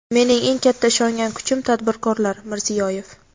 Mening eng katta ishongan kuchim tadbirkorlar — Mirziyoyev.